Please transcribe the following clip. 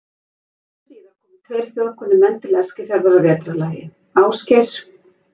Skömmu síðar komu tveir þjóðkunnir menn til Eskifjarðar að vetrarlagi, Ásgeir